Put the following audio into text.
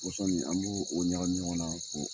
Pɔsɔni an b'o ɲagami ɲɔgɔn na ko